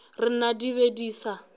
rena di be di sa